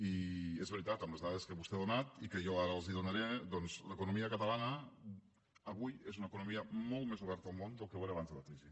i és veritat amb les dades que vostè ha donat i que jo ara els donaré doncs l’economia catalana avui és una economia molt més oberta al món del que ho era abans de la crisi